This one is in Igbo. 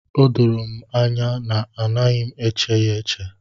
O doro anya na anaghị m eche ya eche.